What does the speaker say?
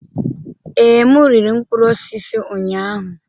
Ee, m riri mkpụrụ osisi ụnyahụ.